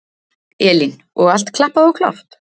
Elín: Og allt klappað og klárt?